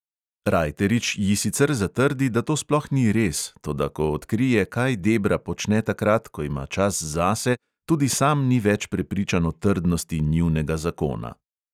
Rajterič ji sicer zatrdi, da to sploh ni res, toda ko odkrije, kaj debra počne takrat, ko ima čas zase, tudi sam ni več prepričan o trdnosti njunega zakona.